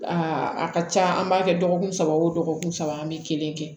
Aa a ka ca an b'a kɛ dɔgɔkun saba o dɔgɔkun saba an bɛ kelen kɛ